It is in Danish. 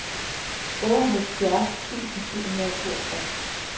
otteoghalvfjerds tusind syv hundrede og toogtres